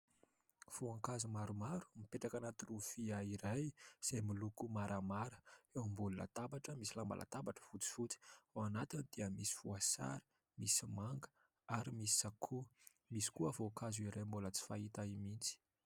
Voankazo maromaro mipetraka anaty lovia iray izay miloko maramara, eo ambonina latabatra misy lamba latabatra fotsifotsy. Ao anatiny dia misy voasary, misy manga ary misy sakoa, misy koa voankazo iray mbola tsy fahita mihitsy.